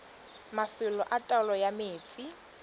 mafelo a taolo ya metsi